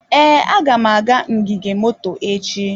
Ee, aga m aga ngige moto echi.